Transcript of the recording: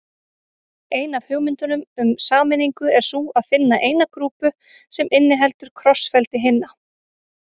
Ein af hugmyndunum um sameiningu er sú að finna eina grúpu sem inniheldur krossfeldi hinna.